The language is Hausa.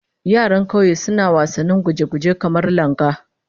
Yaran kauye suna wasannin guje-guje, kamar langa